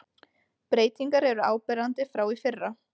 Breytingar eru áberandi frá í fyrra